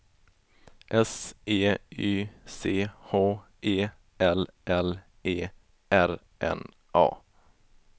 S E Y C H E L L E R N A